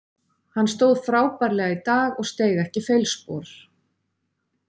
Hann stóð frábærlega í dag og steig ekki feilspor.